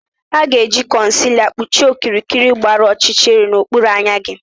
A ga-eji concealer kpuchie okirikiri gbara ọchịchịrị n'okpuru anya gị